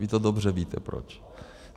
Vy to dobře víte, proč.